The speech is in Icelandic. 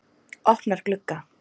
Opnar glugga.